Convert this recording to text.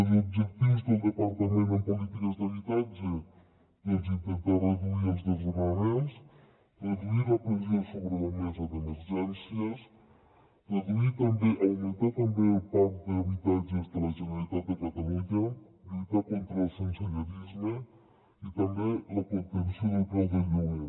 els objectius del departament en polítiques d’habitatge doncs intentar reduir els desnonaments reduir la pressió sobre la mesa d’emergències augmentar també el parc d’habitatges de la generalitat de catalunya lluitar contra el sensellarisme i també la contenció del preu del lloguer